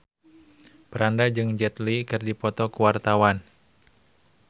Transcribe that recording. Franda jeung Jet Li keur dipoto ku wartawan